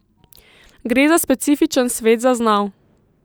Gre za specifičen svet zaznav.